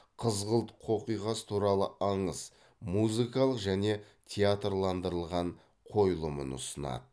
қызғылт қоқиқаз туралы аңыз музыкалық және театрландырылған қойылымын ұсынады